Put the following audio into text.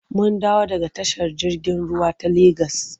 Mun dawo daga tashar jirgin ruwa ta Legas.